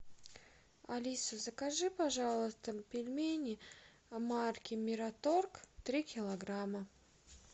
алиса закажи пожалуйста пельмени марки мираторг три килограмма